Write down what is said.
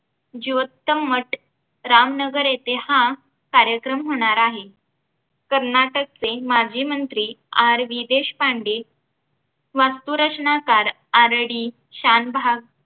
जीवोत्तम मठ रामनगर येथे हा कार्यक्रम होणार आहे कर्नाटकचे माजी मंत्री RV देशपांडे वास्तुरचनाकार RD शानभाग